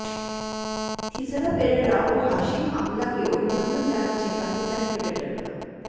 থিসারা পেরেরা ও হাশিম আমলাকে অভিনন্দন জানাচ্ছে পাকিস্তানি ক্রিকেটাররা